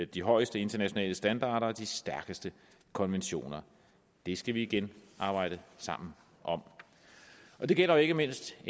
de højeste internationale standarder og de stærkeste konventioner det skal vi igen arbejde sammen om det gælder jo ikke mindst